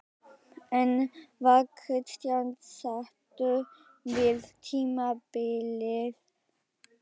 En var Kristján sáttur við tímabilið?